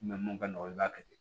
mun ka nɔgɔ i b'a kɛ ten